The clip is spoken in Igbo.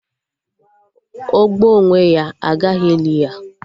O gbuo onwe ya, agaghị eli ya